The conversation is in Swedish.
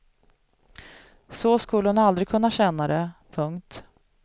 Så skulle hon aldrig kunna känna det. punkt